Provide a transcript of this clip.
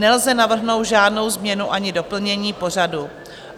Nelze navrhnout žádnou změnu ani doplnění pořadu.